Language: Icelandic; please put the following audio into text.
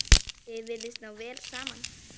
Þau virðast ná vel saman.